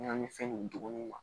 Ɲaamin fɛn ninnu duguni ma